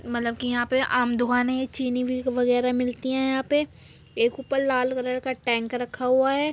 मतलब की यहाँ पे आम दुकानें हैं। चीनी भी वगैरा मिलती है यहाँ पे एक उपर लाल कलर का टँक रखा हुआ है।